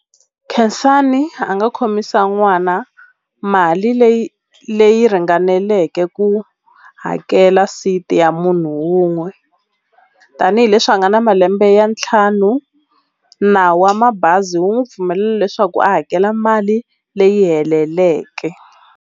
Khensani a nga khomisa n'wana mali leyi leyi ringaneleke ku hakela seat ya munhu wun'we tanihileswi a nga na malembe ya ntlhanu nawu wa mabazi wu n'wi pfumelela leswaku a hakela mali leyi heleleke.